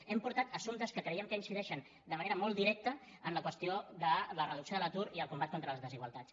hem portat assumptes que creiem que incideixen de manera molt directa en la qüestió de la reducció de l’atur i el combat contra les desigualtats